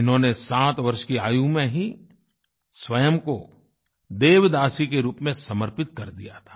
इन्होंने सात वर्ष की आयु में ही स्वयं को देवदासी के रूप में समर्पित कर दिया था